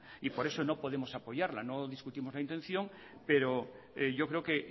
y por eso no podemos apoyarla no discutimos la intención pero yo creo que